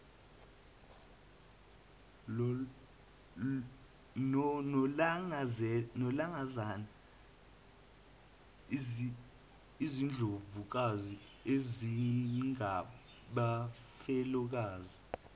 nolangazana izindlovukazi ezingabafelokazi